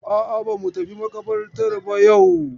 A'a, ba mu tafi maƙabartar ba yau.